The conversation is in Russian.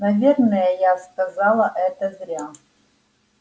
наверное я сказала это зря